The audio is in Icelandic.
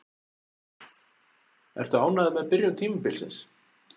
Ertu ánægður með byrjun tímabilsins?